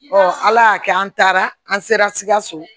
ala y'a kɛ an taara an sera sikaso